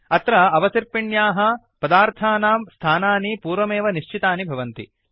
अत्र अवसर्पिण्याः पदार्थानां स्थानानि पूर्वमेव निश्चितानि भवन्ति